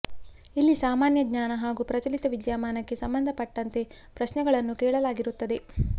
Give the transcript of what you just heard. ಇಲ್ಲಿ ಸಾಮಾನ್ಯ ಜ್ಞಾನ ಹಾಗೂ ಪ್ರಚಲಿತ ವಿದ್ಯಾಮಾನಕ್ಕೆ ಸಂಬಂಧಪಟ್ಟಂತೆ ಪ್ರಶ್ನೆಗಳನ್ನ ಕೇಳಲಾಗಿರುತ್ತದೆ